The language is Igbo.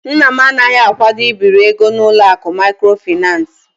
Nna m anaghị akwado ibiri ego n'ụlọ akụ maịkrofaịnans.